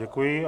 Děkuji.